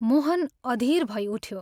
मोहन अधीर भई उठ्यो।